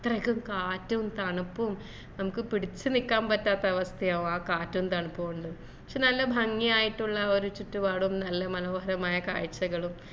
അത്രക്കും കാറ്റും തണുപ്പും നമ്മക്ക് പിടിച്ചു നിക്കാൻ പറ്റാത്ത അവസ്ഥയാകും ആ കാറ്റും തണുപ്പു കൊണ്ട് പക്ഷെ നല്ല ഭംഗിയായിട്ടുള്ള ഒരു ചുറ്റുപാടും നല്ല മനോഹരമായ കാഴ്ചകളും